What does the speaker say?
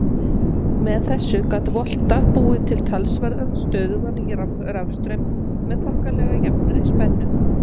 Með þessu gat Volta búið til talsverðan stöðugan rafstraum með þokkalega jafnri spennu.